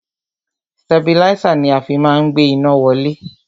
Stabilísà ni a fi má ń gbé iná wálẹ̀.